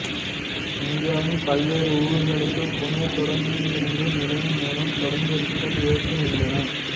இந்தியாவின் பல்வேறு ஊர்களுக்கு புனே தொடருந்து நிலையம் மூலம் தொடருந்துகள் இயங்குகின்றன